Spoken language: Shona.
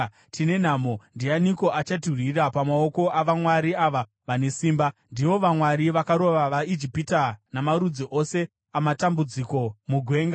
Tine nhamo! Ndianiko achatirwira pamaoko avamwari ava vane simba? Ndivo vamwari vakarova vaIjipita namarudzi ose amatambudziko mugwenga.